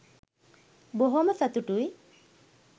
බොහොම සතුටුයි